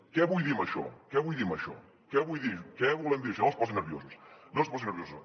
què vull dir amb això què vull dir amb això què vull dir què volem dir amb això no es posin nerviosos no es posin nerviosos